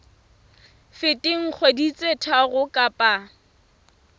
feteng dikgwedi tse tharo kapa